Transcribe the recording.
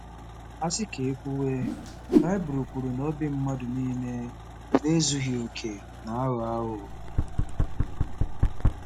A sị ka e kwuwe, Baịbụl kwuru na obi mmadụ niile na-ezughị okè na-aghọ aghụghọ.